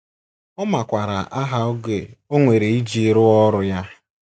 Ọ makwaara aha oge o nwere iji rụzuo ọrụ ya.